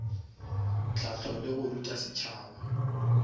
hlahlo le go ruta setšhaba